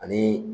Ani